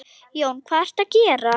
Jón: Hvað ertu að gera?